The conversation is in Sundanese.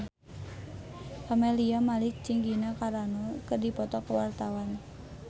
Camelia Malik jeung Gina Carano keur dipoto ku wartawan